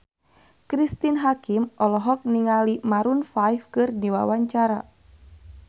Cristine Hakim olohok ningali Maroon 5 keur diwawancara